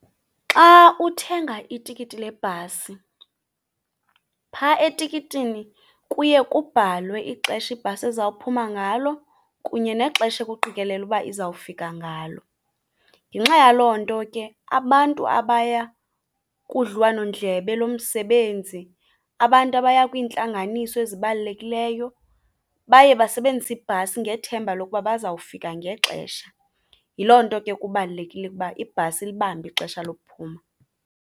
Xa uthenga itikiti lebhasi phaa etikitini kuye kubhalwe ixesha ibhasi eza kuphuma ngalo kunye nexesha ekuqikelelwa uba izawufika ngalo. Ngenxa yaloo nto ke abantu abaya kudliwanondlebe lomsebenzi, abantu abaya kwiintlanganiso ezibalulekileyo baye basebenzise ibhasi ngethemba lokuba baza kufika ngexesha. Yiloo nto ke kubalulekile ukuba ibhasi ilibambe ixesha lokuphuma.